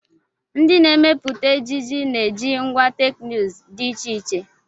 Ndị na-emepụta ejiji na-eji ngwá teknụzụ dị iche iche.